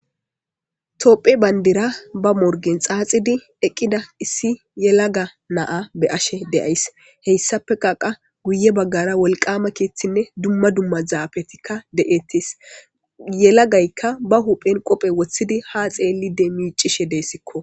topphe bayndira ba morgen xaaxidi eqqida issi yelaga naa be ashe deays heyssafe qaqa guye baggara wolqama kiithinne dumma dumma zaafetikka de7etis yelagaykka ba huphen qophe woththidi ha xeelli de miicishe deessikko